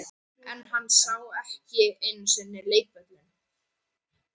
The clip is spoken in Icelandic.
En hann sá ekki einu sinni leikvöllinn.